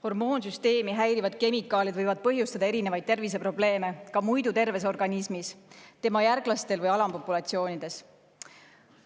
Hormoonsüsteemi häirivad kemikaalid võivad põhjustada erinevaid terviseprobleeme ka muidu terves organismis, tema järglastel või populatsioonides.